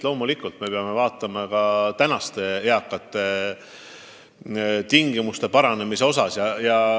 Loomulikult me peame mõtlema ka praeguste eakate elu parandamisele.